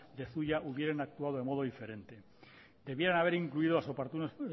de zuia hubieran actuado de modo diferente debieran de haber incluido las oportunas